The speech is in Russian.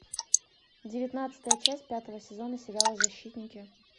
девятнадцатая часть пятого сезона сериала защитники